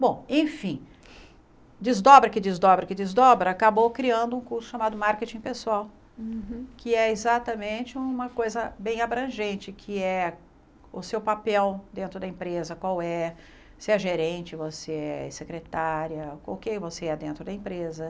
Bom, enfim, desdobra que desdobra que desdobra, acabou criando um curso chamado Marketing Pessoal, Uhum Que é exatamente uma coisa bem abrangente, que é o seu papel dentro da empresa, qual é, se é gerente, você é secretária, o que você é dentro da empresa.